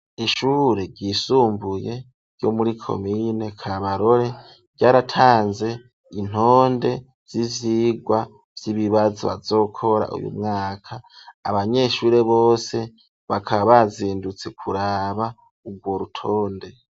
Ishure ryisumbuye, ryo muri komine Kabarore, ryaratanze intonde, z'ivyigwa vy'ibibazo, bazokora uyu mwaka; abanyeshure bose, bakaba bazindutse kuraba, urwo rutonde.